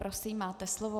Prosím, máte slovo.